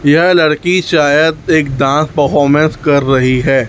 यह लड़की शायद एक डान्स परफॉर्मेंस कर रही है।